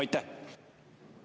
Aitäh!